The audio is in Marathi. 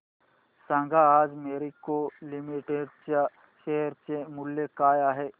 सांगा आज मॅरिको लिमिटेड च्या शेअर चे मूल्य काय आहे